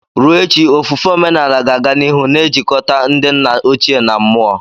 Ruo echi ofufe omenala ga-aga n'ihu na-ejikọta ndị nna ochie na mmụọ.